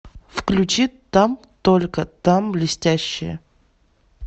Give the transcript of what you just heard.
включи там только там блестящие